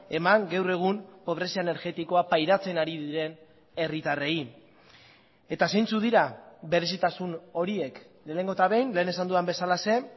eman gaur egun pobrezia energetikoa pairatzen ari diren herritarrei eta zeintzuk dira berezitasun horiek lehenengo eta behin lehen esan dudan bezalaxe